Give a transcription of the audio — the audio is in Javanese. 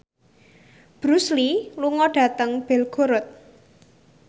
Bruce Lee lunga dhateng Belgorod